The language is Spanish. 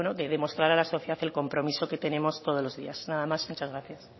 de demostrar a la sociedad el compromiso que tenemos todos los días nada más muchas gracias